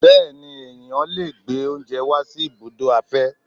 Bẹẹni, ẹ̀yán lè gbé oúnjẹ wá sí ibùdó igbàfẹ́.